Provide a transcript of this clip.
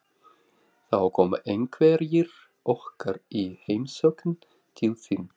Þá koma einhverjir okkar í heimsókn til þín